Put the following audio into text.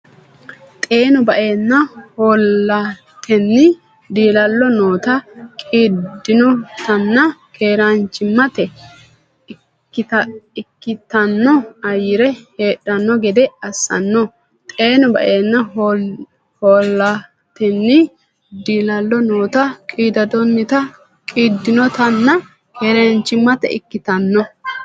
Xeenu ba’ne hoolatenni diilallo noota, qiiddinotanna keeraanchimmate ikkitanno ayyere heedhanno gede assanno Xeenu ba’ne hoolatenni diilallo noota, qiiddinotanna keeraanchimmate ikkitanno.